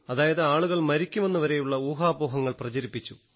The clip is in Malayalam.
അതായത് ആളുകൾ മരിക്കുമെന്നു വരെയുള്ള ഊഹാപോഹങ്ങൾ പ്രചരിപ്പിച്ചു